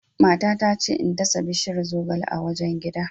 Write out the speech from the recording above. Matata ta ce in dasa bishiyar zogale a wajen gida.